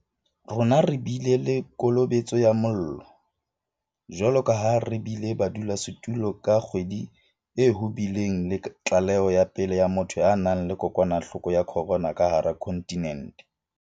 Rona re bile le kolobetso ya mollo, jwalo ka ha re bile badulasetulo ka kgwedi e ho bileng le tlaleho ya pele ya motho a nang le kokwanahloko ya corona ka hara kontinente.